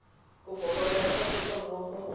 kopo ya gago ga mmogo